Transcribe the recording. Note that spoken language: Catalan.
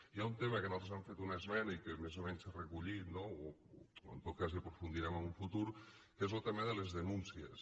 hi ha un tema que nosaltres hem fet una esmena i que més o menys s’ha recollit no o en tot cas hi aprofundirem en un futur que és lo tema de les denúncies